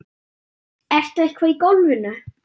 Ertu eitthvað í golfinu?